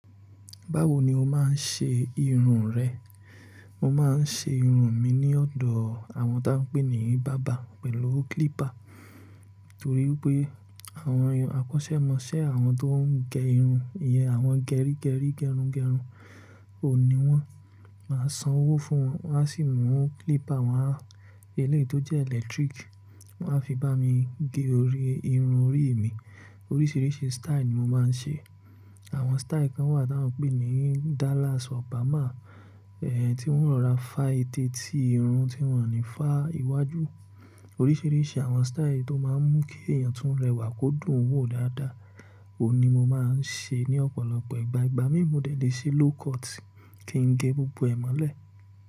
Báwo ni o máa ń ṣe irun rẹ? Mo máa ń ṣe irun mi ní ọ̀dọ̀ àwọn tí a ń pè ní bàbá pẹ̀lú clipper. Nítorí pé àwọn akọ́ṣẹ́ mọṣẹ́, àwọn tó ń gẹ irun ìyẹn àwọn gẹrígẹrí gẹrungẹrun ò n ní wọ́n. Máa san owó fún wọn, wọ́n á sì mú clipper wọn, eléèti tó jẹ́ electric, wọ́n á fi bá mi gé irun orí mi. Oríṣìíríṣìí style ni mo máa ń ṣe. Àwọn style kan wà tí a ń pè ní Dallas, Obama, tí wọ́n o rọra fá eteeti irun tí wọ́n ní fá iwájú. Oríṣìíríṣìí àwọn style yi lo máa ń mú kí èèyàn tun rẹwà kó dùn ún wò dáadáa, òhun ní mo máa ń ṣe ní ọ̀pọ̀lọpọ̀ ìgbà. Igba mi, mo dẹ le ṣe low cut, ki n gẹ gbogbo ẹ mọlẹ.